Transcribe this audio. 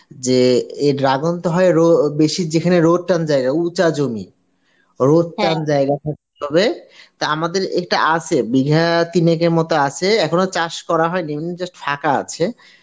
যে এই dragon তো হয় রো~ বেসি যেখানে রোদ টান জায়গায় উঁচা জমি রোদ টান জায়গা থাকতে হবে তা আমাদের এইটা আছে বিঘা তিনেকের মত আছে এখনো চাষ করা হয়নি এমনি just ফাঁকা আছে।